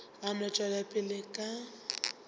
a no tšwela pele ka